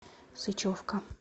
сычевка